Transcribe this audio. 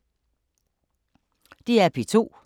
DR P2